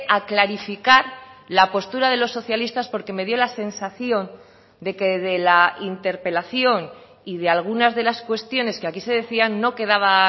a clarificar la postura de los socialistas porque me dio la sensación de que de la interpelación y de algunas de las cuestiones que aquí se decían no quedaba